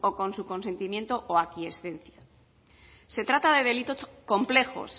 con su consentimiento o aquiescencia se trata de delitos complejos